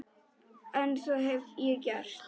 En það hef ég gert.